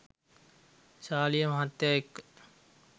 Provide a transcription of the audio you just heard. සාලිය මහත්තයා එක්ක